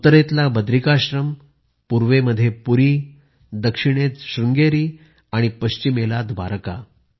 उत्तरेतला बद्रिकाश्रम पूर्वमध्ये पुरी दक्षिणेत शृंगेरी आणि पश्चिमेला द्वारका